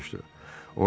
Dartanyan soruşdu.